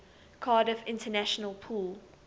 cardiff international pool